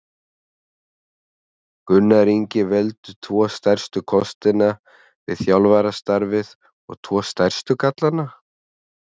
Gunnar Ingi Veldu tvo stærstu kostina við þjálfarastarfið og tvo stærstu gallana?